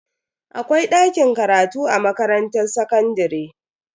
Akwai dakin karatu a makarantar sakandare.